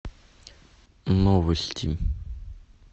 новости